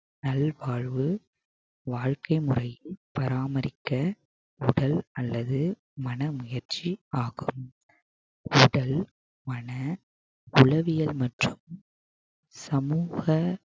நல்வாழ்வு வாழ்க்கை முறை பராமரிக்க உடல் அல்லது மனமுயற்சி ஆகும் உடல் மன உளவியல் மற்றும் சமூக